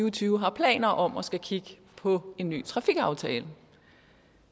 og tyve har planer om at skulle kigge på en ny trafikaftale